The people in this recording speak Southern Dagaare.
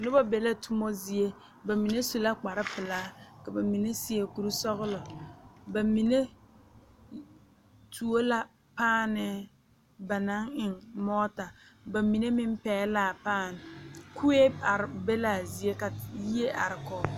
Noba be la toma zie ba mine su la kparepelaa ka ba mine seɛ kurisɔglɔ ba mine tuo la paanɛɛ ba naŋ eŋ mɔɔta ba mine meŋ pɛgle la a paane kue are be la a zie ka yie are kɔge.